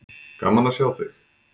Gaman að sjá þig.